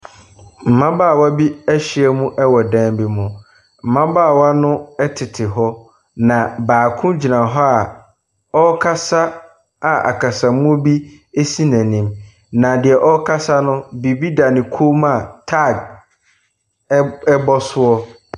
Mmabaawa bi ahyiam wɔ dan bi mu. Mmabaawa no tete hɔ. Na baako gyina hɔ a ɔrekasa a akasa mu bi si n'anim. Na deɛ ɔrekasa no, biribi da ne kɔn mu a, tag bɔ so.